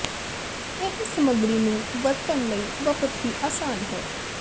ਇਹ ਸਮੱਗਰੀ ਨੂੰ ਵਰਤਣ ਲਈ ਬਹੁਤ ਹੀ ਆਸਾਨ ਹੈ